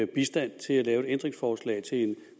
bistand til at lave et ændringsforslag til et